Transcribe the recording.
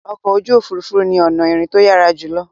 Ọkọ̀ ojú òfurufú ni ọ̀nà ìrìn tó yára jùlọ